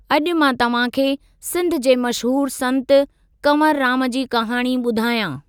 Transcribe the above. अॼु मां तव्हांखे सिंध जे मशहूरु संतु कंवरुराम जी कहाणी ॿुधायां।